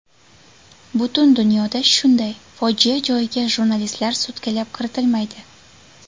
Butun dunyoda shunday, fojia joyiga jurnalistlar sutkalab kiritilmaydi.